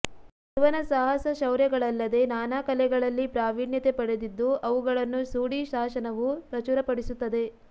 ಇವನ ಸಾಹಸ ಶೌರ್ಯಗಳಲ್ಲದೇ ನಾನಾ ಕಲೆಗಳಲ್ಲಿ ಪ್ರಾವಿಣ್ಯತೆ ಪಡೆದಿದ್ದು ಅವುಗಳನ್ನು ಸೂಡಿ ಶಾಸನವು ಪ್ರಚುರಪಡಿಸುತ್ತದೆ